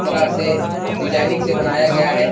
सरा से डिजाइनिंग से बनाया गया है।